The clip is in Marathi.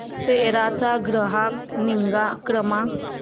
सेरा चा ग्राहक निगा क्रमांक